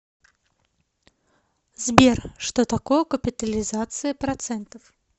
сбер что такое капитализация процентов